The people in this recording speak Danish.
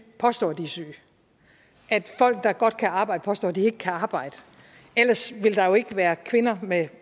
påstår at de er syge at folk der godt kan arbejde påstår at de ikke kan arbejde ellers ville der jo ikke være kvinder med